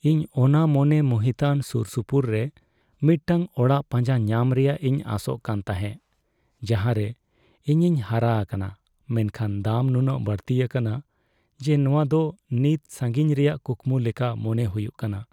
ᱤᱧ ᱚᱱᱟ ᱢᱚᱱᱮ ᱢᱩᱦᱤᱛᱟᱱ ᱥᱩᱨᱥᱩᱯᱩᱨ ᱨᱮ ᱢᱤᱫᱴᱟᱝ ᱚᱲᱟᱜ ᱯᱟᱸᱡᱟ ᱧᱟᱢ ᱨᱮᱭᱟᱜ ᱤᱧ ᱟᱥᱚᱜ ᱠᱟᱱ ᱛᱟᱦᱮᱸ ᱡᱟᱦᱟᱸᱨᱮ ᱤᱧᱤᱧ ᱦᱟᱨᱟ ᱟᱠᱟᱱᱟ, ᱢᱮᱱᱠᱷᱟᱱ ᱫᱟᱢ ᱱᱩᱱᱟᱹᱜ ᱵᱟᱹᱲᱛᱤ ᱟᱠᱟᱱᱟ ᱡᱮ ᱱᱚᱶᱟ ᱫᱚ ᱱᱤᱛ ᱥᱟᱹᱜᱤᱧ ᱨᱮᱭᱟᱜ ᱠᱩᱠᱢᱩ ᱞᱮᱠᱟ ᱢᱚᱱᱮ ᱦᱩᱭᱩᱜ ᱠᱟᱱᱟ ᱾